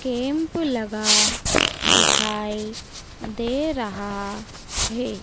Kemp लगा दिखाई दे रहा है।